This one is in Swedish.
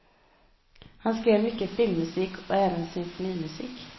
Han skrev mycket filmmusik och även symfonimusik.